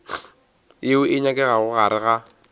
yeo e nyakegago gare ga